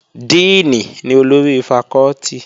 Díìnì ni olórí fakọ́tì